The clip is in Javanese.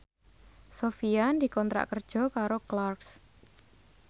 Sofyan dikontrak kerja karo Clarks